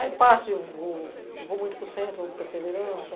Aí, parte, eu vou eu vou muito para o centro, vou para a.